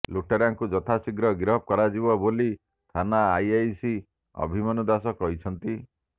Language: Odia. ଲୁଟେରାଙ୍କୁ ଯଥାଶୀଘ୍ର ଗିରଫ କରାଯିବ ବୋଲି ଥାନା ଆଇଆଇସି ଅଭିମନ୍ୟୁ ଦାସ କହିଛନ୍ତି